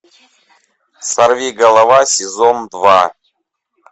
сорви голова сезон два